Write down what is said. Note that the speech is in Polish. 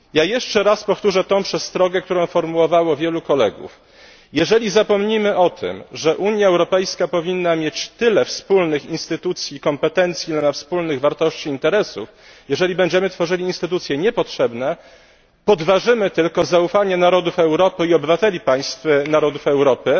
Jeszcze raz powtórzę tą przestrogę, którą formułowało wielu kolegów. Jeżeli zapomnimy o tym, że UE powinna mieć tyle wspólnych instytucji i kompetencji, ile ma wspólnych wartości i interesów, jeżeli będziemy tworzyli instytucje niepotrzebne, podważymy tylko zaufanie narodów Europy i obywateli państw narodów Europy